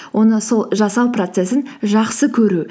оны сол жасау процессін жақсы көру